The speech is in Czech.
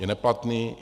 Je neplatný?